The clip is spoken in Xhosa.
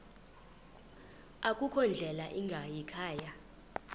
akukho ndlela ingayikhaya